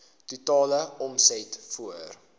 totale omset voor